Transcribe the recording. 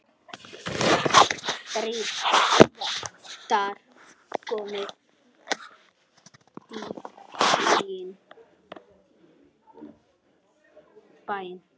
Stríðið var komið í bæinn!